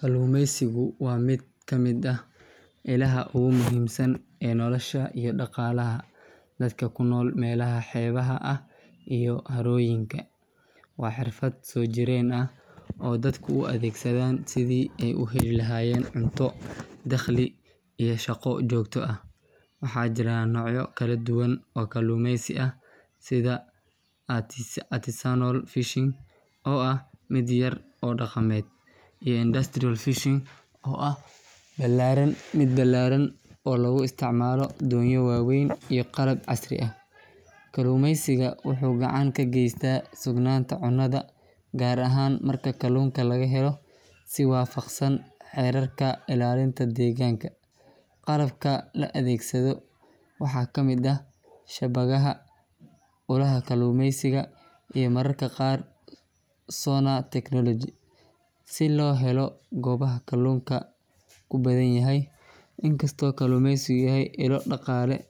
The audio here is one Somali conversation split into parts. Kalluumeysigu waa mid ka mid ah ilaha ugu muhiimsan ee nolosha iyo dhaqaalaha dadka ku nool meelaha xeebaha ah iyo harooyinka. Waa xirfad soo jireen ah oo dadku u adeegsadaan sidii ay u heli lahaayeen cunto, dakhli iyo shaqo joogto ah. Waxaa jira noocyo kala duwan oo kalluumeysi ah, sida artisanal fishing oo ah mid yar oo dhaqameed, iyo industrial fishing oo ah mid ballaaran oo lagu isticmaalo doonyo waaweyn iyo qalab casri ah. Kalluumeysiga wuxuu gacan ka geystaa sugnaanta cunnada, gaar ahaan marka kalluunka laga helo si waafaqsan xeerarka ilaalinta deegaanka. Qalabka la adeegsado waxaa ka mid ah shabaagaha, ulaha kalluumeysiga, iyo mararka qaar sonar technology si loo helo goobaha kalluunka ku badan yahay. Inkastoo kalluumeysigu yahay ilo dhaqaale,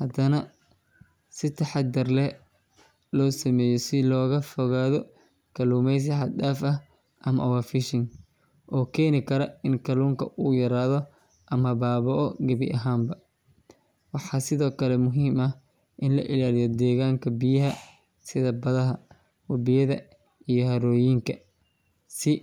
haddana waa in si taxaddar leh loo sameeyaa si looga fogaado kalluumeysi xad dhaaf ah ama overfishing oo keeni kara in kalluunka uu yaraado ama baaba’o gebi ahaanba. Waxaa sidoo kale muhiim ah in la ilaaliyo deegaanka biyaha, sida badaha, webiyada iyo harooyinka si.